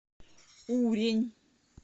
урень